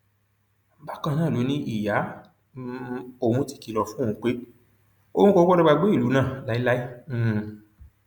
bákan náà ló ní ìyá um òun ti kìlọ fún òun pé òun kò gbọdọ gbàgbé ìlú náà láéláé um